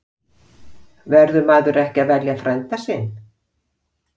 Verður maður ekki að velja frænda sinn?